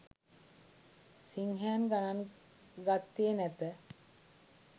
සිංහයන් ගණන් ගත්තේ නැත.